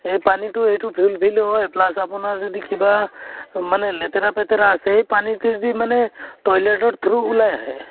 সেই পানীতো এইতো ভিল হয় plus আপোনাৰ যদি কিবা মানে লেতেৰা পেতেৰা আছে, সেই পানীতে যি মানে toilet ৰ through ওলাই আহে ।